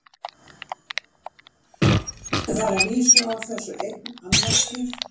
Það er að vísu á þessu einn annmarki.